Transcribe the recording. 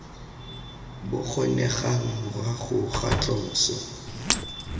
bo kgonegang morago ga tloso